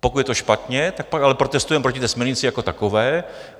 Pokud je to špatně, tak pak ale protestujme proti té směrnici jako takové.